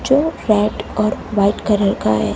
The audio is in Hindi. जो रेड और वाइट कलर का है।